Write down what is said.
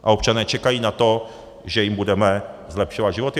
A občané čekají na to, že jim budeme zlepšovat životy.